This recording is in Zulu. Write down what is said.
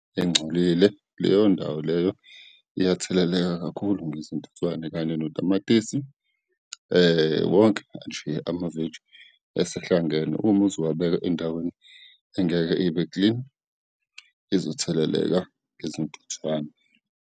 Engcolile, leyo ndawo leyo iyatheleleka kakhulu ngezintuthwane kanye notamatisi, wonke nje amaveji esehlangene, uma uzowubeka endaweni engeke ibeklini, izotheleleka ngezintuthwane.